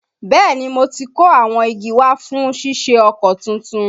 Bẹ́ẹ̀ni, mo ti kó awọn igi wa fún ṣíṣe ọkọ̀ tuntun